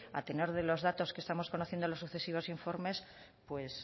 a tenor de los datos que estamos conociendo en los sucesivos informes